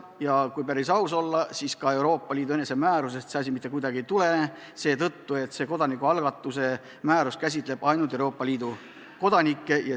Ja kui päris aus olla, siis Euroopa Liidu määrusest see mitte kuidagi ei tulene, sest see kodanikualgatuse määrus käsitleb ainult Euroopa Liidu kodanikke.